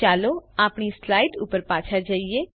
ચાલો આપણી સ્લાઈડ ઉપર પાછા જઈએ